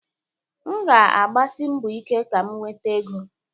M ga-agbasi mbọ ike ka m nweta ego.